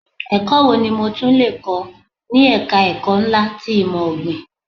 Ẹ̀kọ́ wo ni mo tún lè kọ́ ni ẹ̀ka ẹ̀kọ́ ńlá ti ìmò ọ̀gbìn.